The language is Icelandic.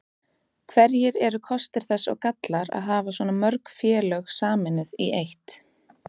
Hverjir eru kostir þess og gallar að hafa svona mörg félög sameinuð í eitt?